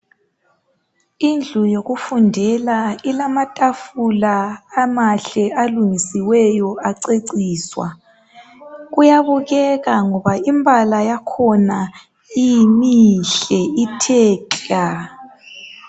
Indlu yokufundela ilamatafula amahle alungisiweyo aceciswa kuyabukeka ngoba imibala yakhona mihle ithe klaaa